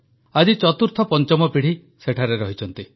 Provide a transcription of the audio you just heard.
ଆଜି ଚତୁର୍ଥପଞ୍ଚମ ପିଢ଼ି ସେଠାରେ ଅଛନ୍ତି